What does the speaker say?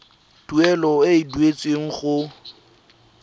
tuelo e e duetsweng go